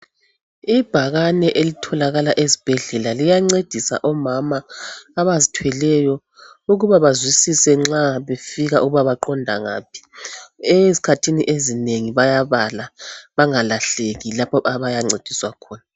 Ibhakane elitholakala ezibhedlela liyancedisa omama abazithweleyo ukuba bazwisise nxa befika ukuba baqonda ngaphi ezikhathini ezinengi bayabala bangalahleki lapha abayancediswa khona.